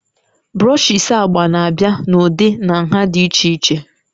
brushes agba na-abịa n'ụdị na nha dị iche iche